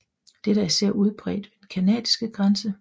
Dette er især udbredt ved den canadiske grænse